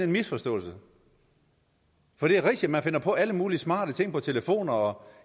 misforståelse for det er rigtigt at man finder på alle mulige smarte ting på telefoner og